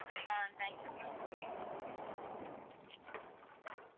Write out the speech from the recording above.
ah thank you ma'am